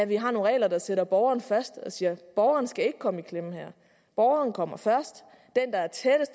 vi har nogle regler der sætter borgeren først og siger borgeren skal ikke komme i klemme her borgeren kommer først